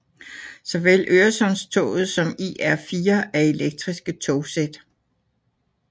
Såvel Øresundstoget som IR4 er elektriske togsæt